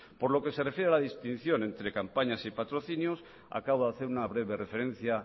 por lo que se refiere a la distinción entre campañas y patrocinios acabo de hacer una breve referencia